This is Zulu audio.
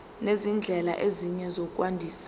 nezindlela ezinye zokwandisa